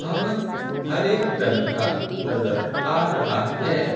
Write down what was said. भवन हरे रंग का नजर आ रहा है।